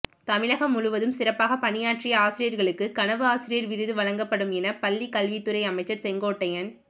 தமிழகம் முழுவதும் சிறப்பாக பணியாற்றிய ஆசிரியர்களுக்கு கனவு ஆசிரியர் விருது வழங்கப்படும் என பள்ளிக்கல்வித்துறை அமைச்சர் செங்கோட்டையன்